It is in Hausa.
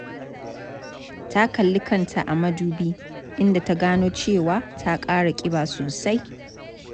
Ta kalli kanta a mudubi, inda ta gano cewa ta ƙara ƙiba sosai.